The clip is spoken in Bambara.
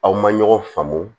Aw ma ɲɔgɔn faamu